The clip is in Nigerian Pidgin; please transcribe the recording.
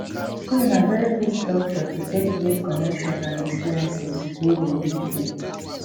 school na very good structure to take get connections and experiences wey go build dem